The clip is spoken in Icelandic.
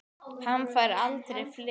Hann fær aldrei frið.